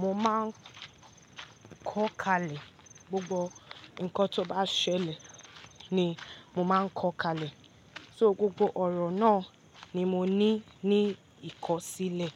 mo máa ń kọ́ kalẹ̀, gbogbo nǹkan tó bá ṣẹlẹ̀ ni mo máa ń kọ́ kalẹ̀. Só gbogbo ọ̀rọ̀ náà ni mo ní ní ìkọ̀sílẹ̀